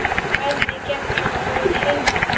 Hvernig gekk þetta í heild?